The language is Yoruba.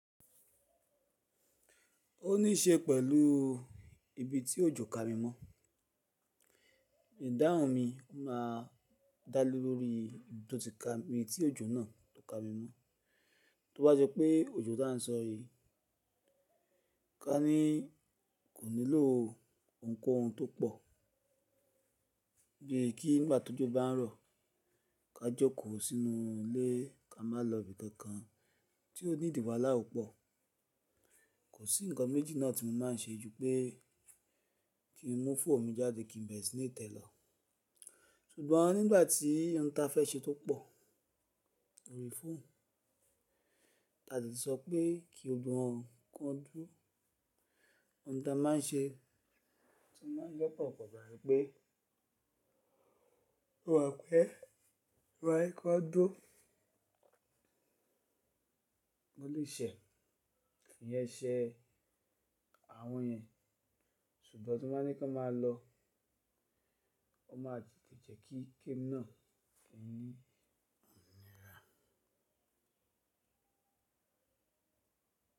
O ní ṣe pẹ̀lú ibi tí òjò ka mi mọ́, ìdáhùn mi máa dá lé lórí nítò ti ka mi, tí òjò náà tó ka mi mọ́. Tó bá jẹ́ pé òjò tá ń sọ èyí, ká ní kò nílò nǹkan ohun tó pọ̀, bí i kí nígbà tó jọ bá ń rọ̀ ká joko sínú ilé ká má lọ ibi kankan tí ó ní ìdìbà làú pọ̀. Kò sí ǹkan méjì náà tí mo máa n ṣe ju pé kí n mú fóòmù jáde kí n bẹ̀rẹ̀ sí ní tẹ̀ lọ. Ṣùgbọ́n nígbà tí ohun ta fẹ́ ṣe tó pọ̀, orí fún, ta deti sọ pé kí gbogbo wọ́n, kí wọ́n dúro. Ohun ta máa n ṣe, tí wọ́n bá jẹ́ pọ̀ pọ̀ jẹ́ pé wàá pé, wàá pé kí wọ́n dó. Mo lè ṣẹ̀, kí n yẹ́ ṣẹ àwọn yẹn, ṣùgbọ́n tí wọ́n bá ní kí n má lọ, wọ́n má tètè jẹ́ kí kem náà kí n ní ǹ rà.